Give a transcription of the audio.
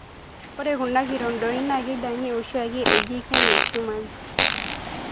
Ore kuna kirondoni na keidangi oshiake eji kene tumors